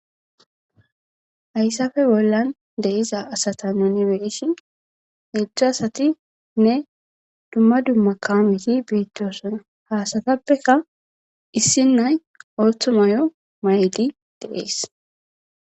hayssafe bollan de'iuza asata nuni beisin heedzdzu asati nne dumma dumma kaameti beettoosona hasatappeka issi nay oothu mayo maydi de'ees